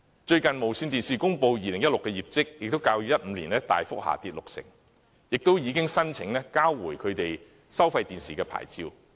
最近，電視廣播有限公司公布其2016年業績，也較2015年大幅下跌六成，並已申請交回其收費電視牌照。